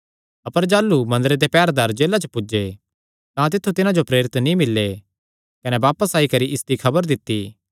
अपर जाह़लू मंदरे दे पैहरेदार जेला च पुज्जे तां तित्थु तिन्हां जो प्रेरित नीं मिल्ले कने बापस आई करी इसदी खबर दित्ती